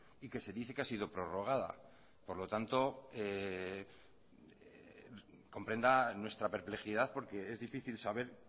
y que se dice que ha sido prorrogada por lo tanto comprenda nuestra perplejidad porque es difícil saber